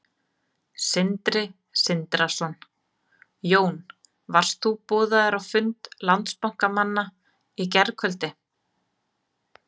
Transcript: Sindri Sindrason: Jón, varst þú boðaður á fund Landsbankamanna í gærkvöldi?